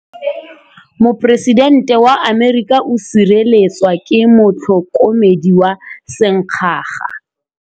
Poresitêntê wa Amerika o sireletswa ke motlhokomedi wa sengaga.